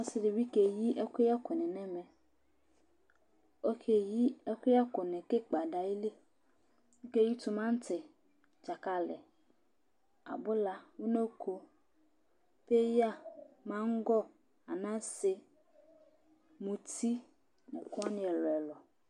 Ɔsiɖi ɖi bi keyi ɛkʋyɛ kʋní ŋu ɛmɛ Ɔkeyi ɛkʋyɛ kuni kʋ ikpa ɖu ayìlí Ɔkeyi timati, dzakali, abʋla, ʋnoko, peya, mangɔ, anase, mʋti ŋu ekʋwani ɛlu ɛlu